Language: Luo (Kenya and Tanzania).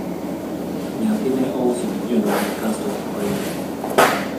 nyathi ne ouso gik jonyuolne kasto oringo